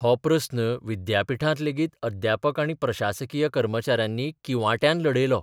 हो प्रस्न विद्यापिठांत लेगीत अध्यापक आनी प्रशासकीय कर्मचाऱ्यांनी किंवाट्यान लढयलो.